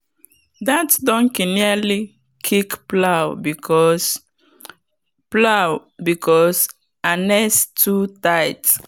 that donkey nearly kick plow because plow because harness too tight.